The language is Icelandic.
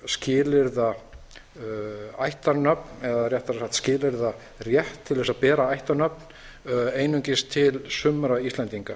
skilyrða ættarnöfn eða réttara sagt skilyrða rétt til að bera ættarnöfn einungis til sumra íslendinga